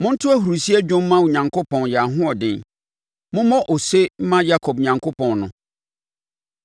Monto ahurisie dwom mma Onyankopɔn yɛn ahoɔden; mommɔ ose mma Yakob Onyankopɔn no!